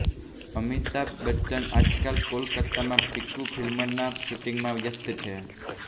અમિતાભ બચ્ચન આજકાલ કોલકાતામાં પીકૂ ફિલ્મના શૂટિંગમાં વ્યસ્ત છે